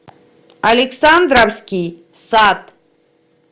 александровский сад